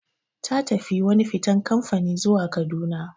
Ta tafi wani fitan kamfani zuwa Kaduna.